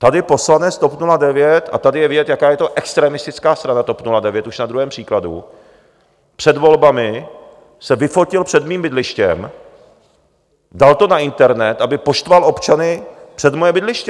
Tady poslanec TOP 09 - a tady je vidět, jaká je to extremistická strana, TOP 09, už na druhém příkladu - před volbami se vyfotil před mým bydlištěm, dal to na internet, aby poštval občany před moje bydliště.